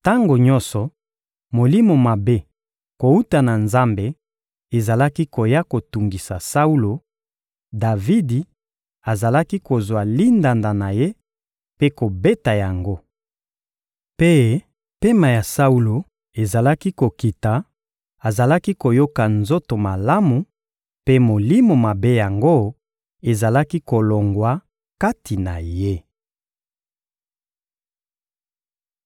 Tango nyonso molimo mabe kowuta na Nzambe ezalaki koya kotungisa Saulo, Davidi azalaki kozwa lindanda na ye mpe kobeta yango. Mpe pema ya Saulo ezalaki kokita, azalaki koyoka nzoto malamu, mpe molimo mabe yango ezalaki kolongwa kati na ye.